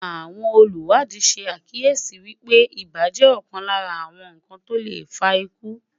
àwọn oluwadi sá kíyèsi wípé ibà jẹ ọkan Lára àwọn iṣan to le faku